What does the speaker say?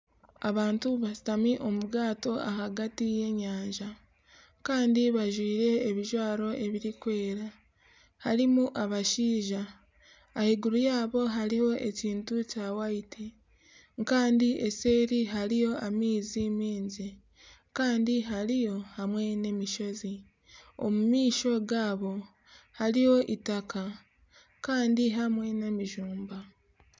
Abantu bashutami omu bwato ahagati y'enyanja bajwaire ebijwaro ebirikwera harimu abashaija ahaiguru yaabo hariyo ekintu kirikwera kandi nseeri hariyo amaizi maingi Kandi hariyo hamwe n'emishozi omu maisho gaabo hariyo eitaka kandi hamwe n'emijumbi